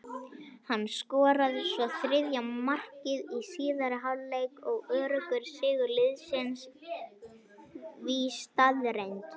Hann skoraði svo þriðja markið í síðari hálfleik og öruggur sigur liðsins því staðreynd.